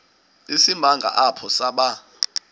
isimanga apho saba